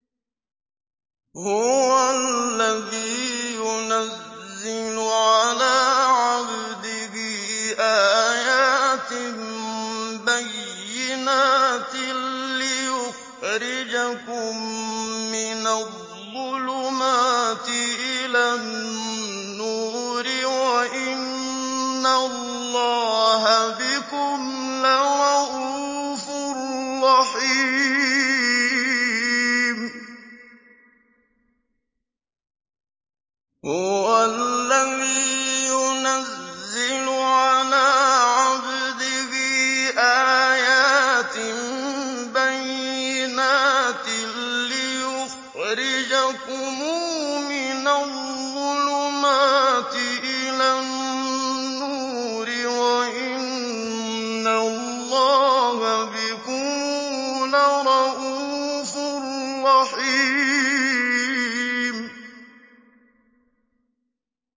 هُوَ الَّذِي يُنَزِّلُ عَلَىٰ عَبْدِهِ آيَاتٍ بَيِّنَاتٍ لِّيُخْرِجَكُم مِّنَ الظُّلُمَاتِ إِلَى النُّورِ ۚ وَإِنَّ اللَّهَ بِكُمْ لَرَءُوفٌ رَّحِيمٌ